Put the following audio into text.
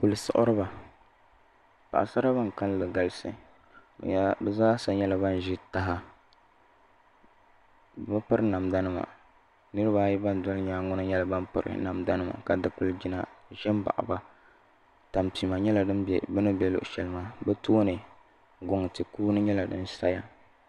Kuli siɣiriba paɣaba ban kanli galisi bi zaa sa yɛla ban zi taha bibi piri namda nima niriba ayi ban doli yɛanga ŋɔ yɛla ban piri namda nima ka dikligina zɛ baɣi ba tampima yɛla din bɛ bini bɛ shɛli maa bi tooni guŋa kuŋ yɛla di ziya.